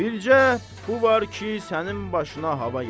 Bircə bu var ki, sənin başına hava gəlib.